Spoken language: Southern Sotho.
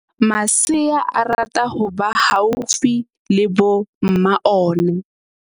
Masea a rata ho ba haufi le bo mma ona.